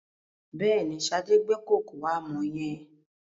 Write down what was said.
Bẹ́ẹ̀ni, Sade gbé kòkò àmọ̀ yẹn.